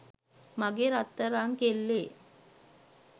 මගේ රත්තරං කෙල්ලේ